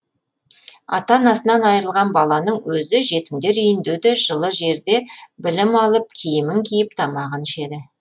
ата анасынан айырылған баланың өзі жетімдер үйінде де жылы жерде білім алып киімін киіп тамағын ішеді